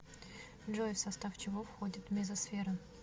джой в состав чего входит мезосфера